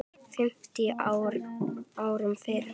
fimmtíu árum fyrr.